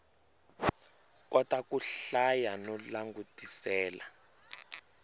kota ku hlaya no langutisela